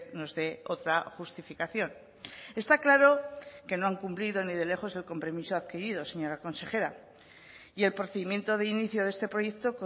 nos dé otra justificación está claro que no han cumplido ni de lejos el compromiso adquirido señora consejera y el procedimiento de inicio de este proyecto